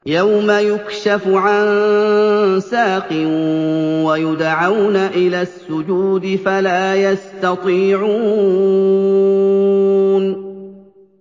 يَوْمَ يُكْشَفُ عَن سَاقٍ وَيُدْعَوْنَ إِلَى السُّجُودِ فَلَا يَسْتَطِيعُونَ